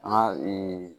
An ka